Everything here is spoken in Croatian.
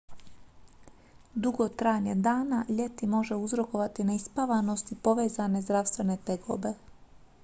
dugo trajanje dana ljeti može uzrokovati neispavanost i povezane zdravstvene tegobe